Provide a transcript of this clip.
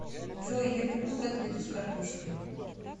джой я люблю котлету с картошкой